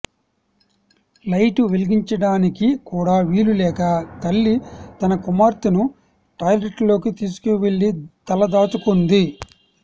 light వెలిగించడానికి కూడా వీలులేక తల్లి తన కుమార్తెను టాయిలెట్లోకి తీసుకువెళ్ళి తలదాచుకుంది